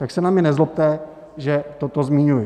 Tak se na mě nezlobte, že toto zmiňuji.